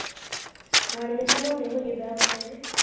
ਮਾੜੇ ਜਹੇ ਮੈਂ ਕਿਹਾਂ ਮੋਟੇ ਹੋਜੀਏ ਬਹਿ ਬਹੁ ਕੇ